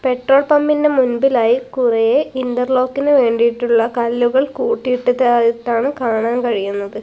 Petrol പമ്പിന്റെ മുൻപിലായി കുറെ ഇൻ്റർലോക്കിനു വേണ്ടിയിട്ടുള്ള കല്ലുകൾ കൂട്ടിയിട്ടതായിട്ടാണ് കാണാൻ കഴിയുന്നത്.